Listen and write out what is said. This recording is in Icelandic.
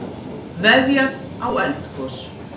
Veðjað á eldgos